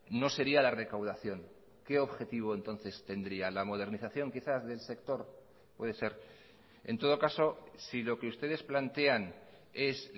no sería la recaudación qué objetivo entonces tendría la modernización quizás del sector puede ser en todo caso si lo que ustedes plantean es